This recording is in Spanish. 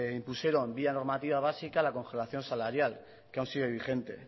impusieron vía normativa básica la congelación salarial que aún sigue vigente